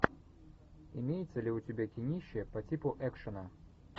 имеется ли у тебя кинище по типу экшена